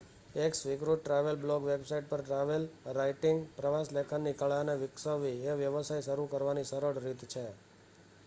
એક સ્વીકૃત travel blog website પર ટ્રાવેલ રાઇટિંગ/પ્રવાસ લેખનની કળા ને વિક્સવવી એ વ્યવસાય શરૂ કરવાની સરળ રીત છે